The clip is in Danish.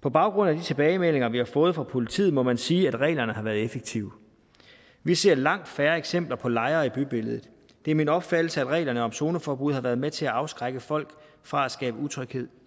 på baggrund af de tilbagemeldinger vi har fået fra politiet må man sige at reglerne har været effektive vi ser langt færre eksempler på lejre i bybilledet det er min opfattelse at reglerne om zoneforbud har været med til at afskrække folk fra at skabe utryghed